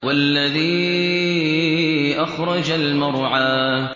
وَالَّذِي أَخْرَجَ الْمَرْعَىٰ